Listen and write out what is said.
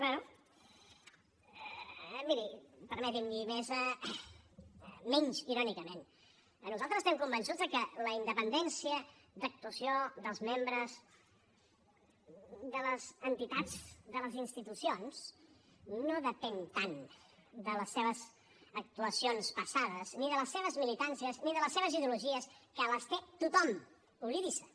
bé miri permeti’m i menys irònicament nosaltres estem convençuts de que la independència d’actuació dels membres de les entitats de les institucions no depèn tant de les seves actuacions passades ni de les seves militàncies ni de les seves ideologies que les té tothom oblidi se’n